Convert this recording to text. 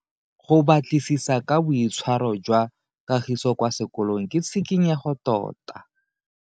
Go batlisisa ka boitshwaro jwa Kagiso kwa sekolong ke tshikinyego tota.